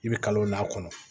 I bɛ kalon lakɔnɔ